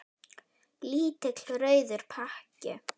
Lítill rauður pakki.